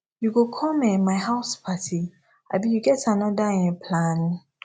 you go come um my house party abi you get anoda um plan